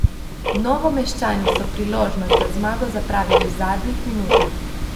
Novomeščani so priložnost za zmago zapravili v zadnjih minutah.